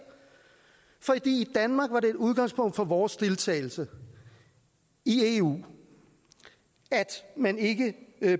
for i danmark var det et udgangspunkt for vores deltagelse i eu at man ikke